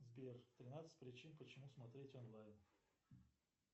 сбер тринадцать причин почему смотреть онлайн